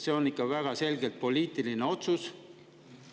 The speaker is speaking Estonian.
See on ikka väga selgelt poliitiline otsus.